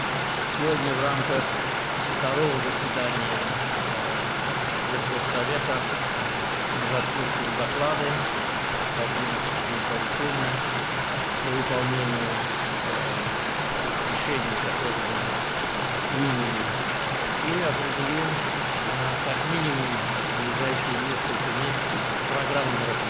Bu gün dövlətlərarası Şuranın ikinci iclası çərçivəsində biz məruzələri dinləyəcəyik, qəbul etdiyimiz qərarların icrası ilə bağlı növbəti tapşırıqlar verəcək və ən azı yaxın bir neçə ay üçün tədbirlər proqramını müəyyən edəcəyik.